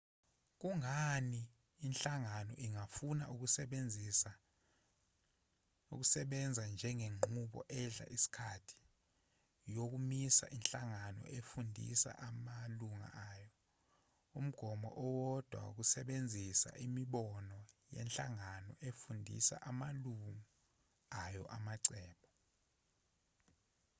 kungani inhlangano ingafuna ukusebenza ngenqubo edla isikhathi yokumisa inhlangano efundisa amalungu ayo umgomo owodwa wokusebenzisa imibono yenhlangano efundisa amalungu ayo amacebo